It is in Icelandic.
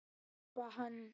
Espa hann.